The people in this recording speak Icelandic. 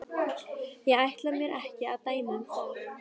Ég ætla mér ekki að dæma um það.